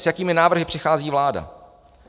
S jakými návrhy přichází vláda?